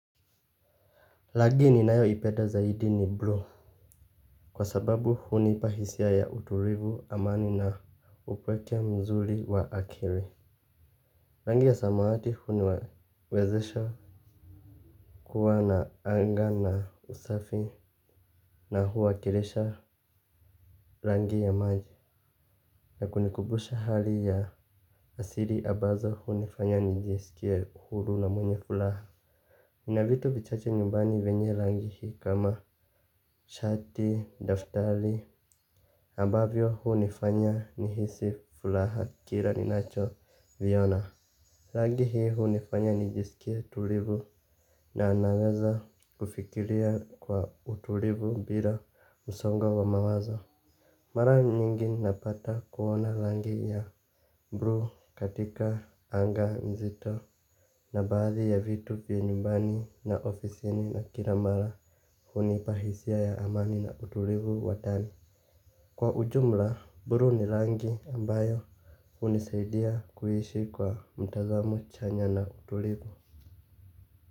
Rangi ninayoipeda zaidi ni bluu. Kwa sababu hunipa hisia ya utulivu amani na upweke mzuri wa akili. Rangi ya samawati huniwezesha kuwa na anga na usafi na huwakilisha rangi ya maji. Na kunikumbusha hali ya asiri ambazo hunifanya nijiesikia huru na mwenye furaha. Nina vitu vichache nyumbani venye rangi hi kama shati, daftari ambavyo hunifanya nihisi furaha kila ninacho viona rangi hunifanya nijiskie tulivu na naweza kufikiria kwa utulivu bila usongo wa mawazo. Mara nyingi napata kuona rangi ya bluu katika anga mzito. Na baadhi ya vitu pia nyumbani na ofisini na kila mara hunipa hisia ya amani na utulivu wa ndani. Kwa ujumla, bluu ni rangi ambayo hunisaidia kuishi kwa mtazamu chanya na utulivu.